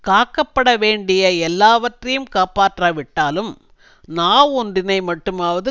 காக்கப்பட வேண்டிய எல்லாவற்றையும் காப்பாற்றாவிட்டாலும் நாவொன்றினை மட்டுமாவது